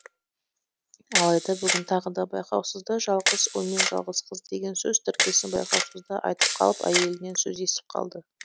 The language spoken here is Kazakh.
алайда бүгін тағы да байқаусызда жалғыз ұл мен жалғыз қыз деген сөз тіркесін байқаусызда айтып қалып әйелінен сөз естіп қалды